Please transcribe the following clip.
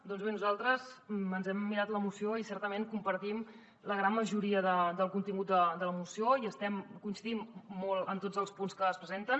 doncs bé nosaltres ens hem mirat la moció i certament compartim la gran majoria del contingut de la moció i coincidim molt en tots els punts que es presenten